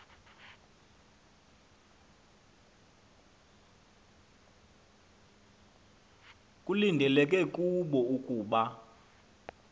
kulindeleke kubo ukuba